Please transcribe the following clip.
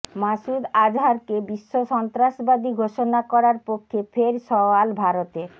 মাসুদ আজহারকে বিশ্বসন্ত্রাসবাদী ঘোষণা করার পক্ষে ফের সওয়াল ভারতের